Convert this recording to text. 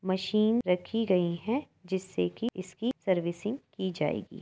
Machine रखी गई हैं। जिससे कि इसकी सर्विसिंग की जाएगी।